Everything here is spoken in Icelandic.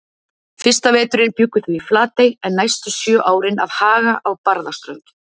Fyrsta veturinn bjuggu þau í Flatey en næstu sjö árin að Haga á Barðaströnd.